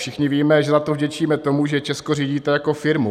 Všichni víme, že za to vděčíme tomu, že Česko řídíte jako firmu.